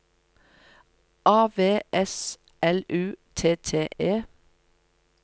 A V S L U T T E